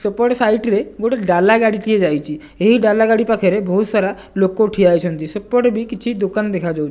ସେପଟେ ସାଇଟି ରେ ଗୋଟେ ଡାଲା ଗାଡିଟିଏ ଯାଇଚି ଏହି ଡାଲା ଗାଡି ପାଖରେ ବୋହୁତ୍ ସାରା ଲୋକ ଠିଆହେଇଛନ୍ତି ସେପଟେ ବି କିଛି ଦୋକାନ ଦେଖାଯାଉ --